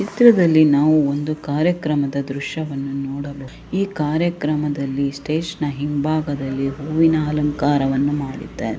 ಈ ಚಿತ್ರದಲ್ಲಿ ನಾವು ಒಂದು ಕಾರ್ಯಕ್ರಮದ ದೃಶ್ಯವನ್ನು ನೋಡಬಹುದು ಈ ಕಾರ್ಯಕ್ರಮದಲ್ಲಿ ಸ್ಟೇಜ್ನ ಹಿಂಭಾಗದಲ್ಲಿ ಹೂವಿನ ಅಲಂಕಾರವನ್ನು ಮಾಡಿದ್ದಾರೆ .